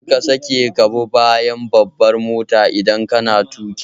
Kar ka sake ka bi bayan babbar mota idan kana tuƙi.